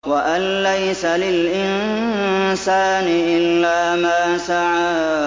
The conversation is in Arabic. وَأَن لَّيْسَ لِلْإِنسَانِ إِلَّا مَا سَعَىٰ